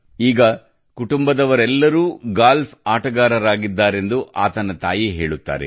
ಈಗ ಕುಟುಂಬದವರೆಲ್ಲರೂ ಗಾಲ್ಫ್ ಆಟಗಾರರಾಗಿದ್ದಾರೆಂದು ಆತನ ತಾಯಿ ಹೇಳುತ್ತಾರೆ